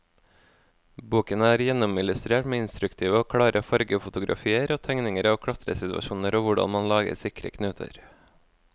Boken er gjennomillustrert med instruktive og klare fargefotografier og tegninger av klatresituasjoner og hvordan man lager sikre knuter.